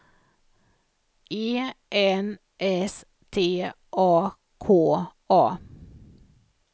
E N S T A K A